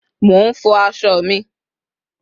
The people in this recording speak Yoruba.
mo nfo aso mi